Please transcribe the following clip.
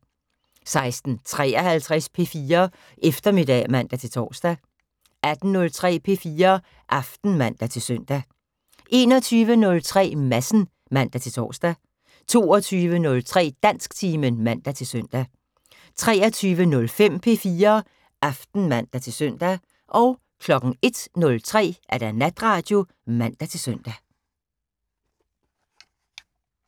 16:53: P4 Eftermiddag (man-tor) 18:03: P4 Aften (man-søn) 21:03: Madsen (man-tor) 22:03: Dansktimen (man-søn) 23:05: P4 Aften (man-søn) 01:03: Natradio (man-søn)